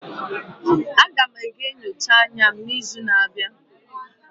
Aga m aga nyocha anya n'izu na-abịa.